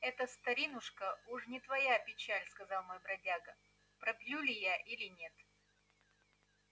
это старинушка уж не твоя печаль сказал мой бродяга пропью ли я или нет